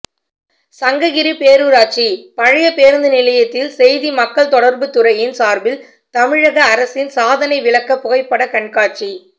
சங்ககிரி பேரூராட்சி பழைய பேருந்து நிலையத்தில் செய்தி மக்கள் தொடர்புத்துறையின் சார்பில் தமிழக அரசின் சாதனை விளக்க புகைப்படக்கண்காட்சி